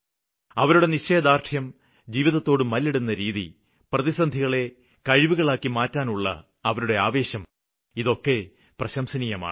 അവരുടെ നിശ്ചയദാര്ഢ്യം ജീവിതത്തോട് മല്ലിടുന്ന രീതി പ്രതിസന്ധികളെ കഴിവുകളാക്കി മാറ്റാനുള്ള അവരുടെ ആവേശമൊക്കെ പ്രശംസനീയമാണ്